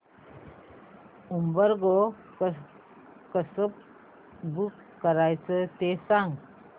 Uber Go कसं book करायचं ते सांग